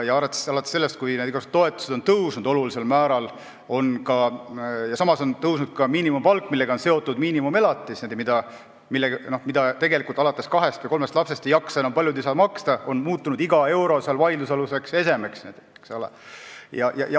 Alates sellest ajast, kui igasugused toetused on tõusnud olulisel määral, aga samas on tõusnud ka miinimumpalk – sellega on seotud miinimumelatis, mida tegelikult alates kahest või kolmest lapsest paljud enam maksta ei jaksa –, on iga euro muutunud vaidlusaluseks esemeks.